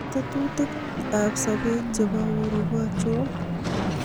tetutik ab sobeet chepo uhuru ko achon